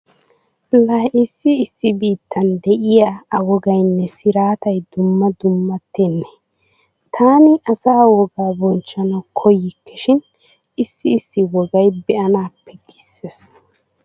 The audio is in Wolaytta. Laa issi issi biittan diya a wogaynne siraatay dumma dummattennee. Taani asa wogaa bochchanawu koyyikke shin issi issi wogay be'anaappe giissees.